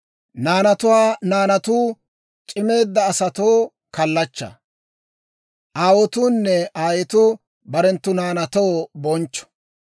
Naanatuwaa naanatuu c'imeedda asatoo kallachchaa; aawotuunne aayetuu barenttu naanaatoo bonchcho.